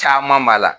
Caman b'a la